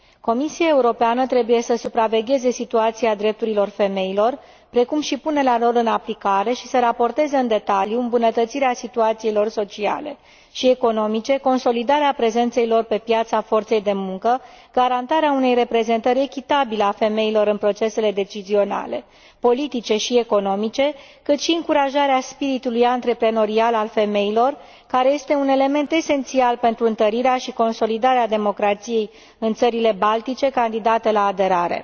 Comisia Europeană trebuie să supravegheze situația drepturilor femeilor, precum și punerea lor în aplicare, și să raporteze în detaliu îmbunătățirea situației lor sociale și economice, consolidarea prezenței lor pe piața forței de muncă, garantarea unei reprezentări echitabile a femeilor în procesele decizionale, politice și economice, dar și încurajarea spiritului antreprenorial al femeilor, care este un element esențial pentru întărirea și consolidarea democrației în țările baltice candidate la aderare.